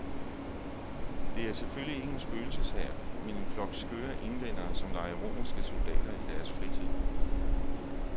Det er selvfølgelig ikke en spøgelseshær, men en flok skøre englændere som leger romerske soldater i deres fritid.